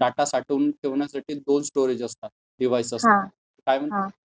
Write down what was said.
Data साठवून ठेवण्यासाठी दोन स्टोरेज असतात. डिव्हाईस असतात. काय म्हणतात त्यांना?